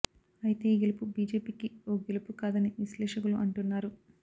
అయితే ఈ గెలుపు బీజేపీకి ఓ గెలుపు కాదని విశ్లేషకులు అంటున్నారు